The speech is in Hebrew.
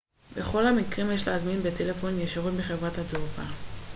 בכל המקרים יש להזמין בטלפון ישירות מחברת התעופה